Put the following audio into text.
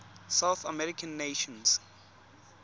south american nations